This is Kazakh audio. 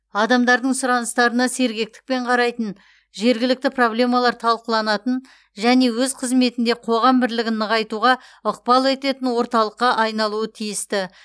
адамдардың сұраныстарына сергектікпен қарайтын жергілікті проблемалар талқыланатын және өз қызметінде қоғам бірлігін нығайтуға ықпал ететін орталыққа айналуы тиісті